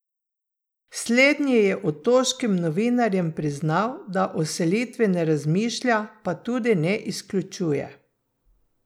Slednji je otoškim novinarjem priznal, da o selitvi ne razmišlja, pa tudi ne izključuje.